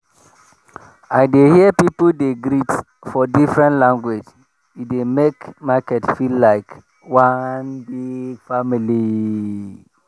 i dey hear people dey greet for different language e dey make market feel like one big family.